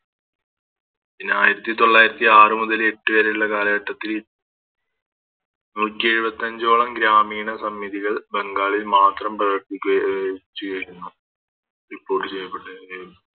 പിന്നെ ആയിരത്തി തൊള്ളായിരത്തി ആറുമുതൽ എട്ട് വരെ ഇള്ള കാലഘട്ടത്തില് നൂറ്റെഴുപത്തഞ്ചോളം ഗ്രാമീണ സമ്മിതികൾ ബംഗാളിൽ മാത്രം പ്രവർത്തിക്കുക അഹ് ചെയ്തിരുന്നു Report ചെയ്യപ്പെട്ടവരെ